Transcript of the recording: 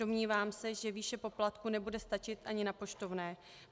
Domnívám se, že výše poplatku nebude stačit ani na poštovné.